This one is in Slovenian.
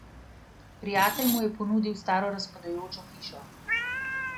Prijatelj mu je ponudil staro razpadajočo hišo.